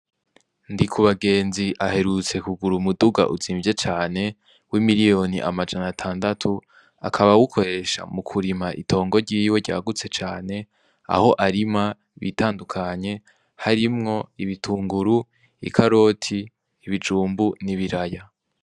Ndikubagenzi aherutse kugura umuduga utsimbye cane wi miliyoni amajana atandatu akaba awukoresha mukurima itongo ryiwe ryagutse cane aho arima ibitandukanye harimwo ibitunguru, ikaroti, ibijumbu n'ibiraya.